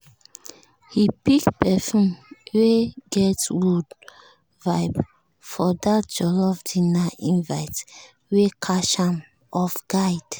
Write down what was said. e pick perfume wey get wood vibes for that jollof dinner invite wey catch am off guard.